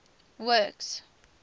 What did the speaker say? works